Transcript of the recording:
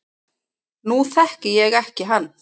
Nú þekki ég ekki hann